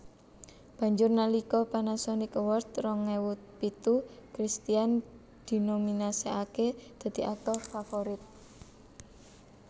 Banjur nalika Panasonic Award rong ewu pitu Christian dinominasèkaké dadi aktor favorit